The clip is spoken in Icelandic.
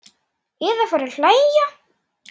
Eða fara að hlæja.